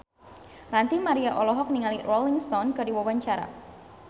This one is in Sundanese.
Ranty Maria olohok ningali Rolling Stone keur diwawancara